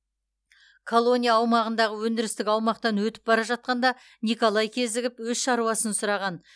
колония аумағындағы өндірістік аумақтан өтіп бара жатқанда николай кезігіп өз шаруасын сұраған